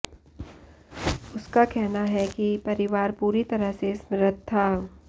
उसका कहना है कि परिवार पूरी तरह से समृद्ध था